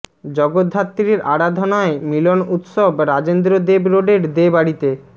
জগদ্ধাত্রীর আরাধনায় মিলন উৎসব রাজেন্দ্র দেব রোডের দে বাড়িতে